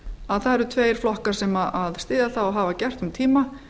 að það eru tveir flokkar sem styðja það og hafa gert um tíma